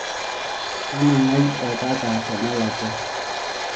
tanangai oltaka tenelakuwa